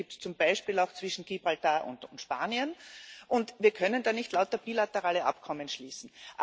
Die Probleme gibt es zum Beispiel auch zwischen Gibraltar und Spanien, und wir können da nicht lauter bilaterale Abkommen schließen.